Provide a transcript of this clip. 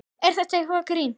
Er þetta eitthvað grín?